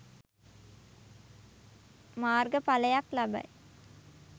මාර්ග පලයක් ලබයි